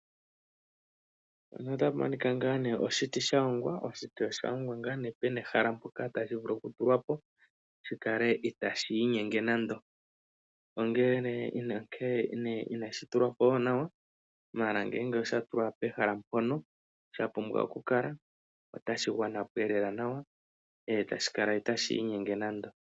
Otapu monika ngaa nee oshiti sha hongwa pena ehala mpoka tashi vulu oku tulwapo shi kale itashi inyenge nando. Ongele nee inashi tulwa po nawa. Ashike ngele osha tulwa po nawa mpono sha pumbwa oku kala otashi gwana po lela. Etashi kala itashi inyenge nando.